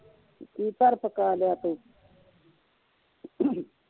ਕੀ ਧਰ ਪਕਾ ਲਿਆ ਤੂੰ